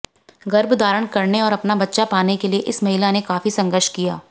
गर्भ धारण करने और अपना बच्चा पाने के लिए इस महिला ने काफी संघर्ष किया